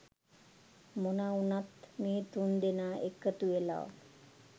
මොනා වුනත් මේ තුන් දෙනා එකතු වෙලා